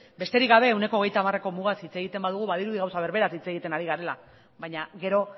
besterik gabe ehuneko hogeita hamareko mugaz hitz egiten badugu badirudi gauza berberaz hitz egiten ari garela baina gero